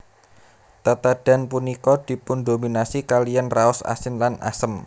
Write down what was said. Tetedhan punika dipundominasi kaliyan raos asin lan asem